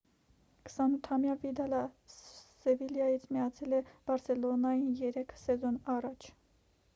28-ամյա վիդալը սևիլյայից միացել է բարսելոնային երեք սեզոն առաջ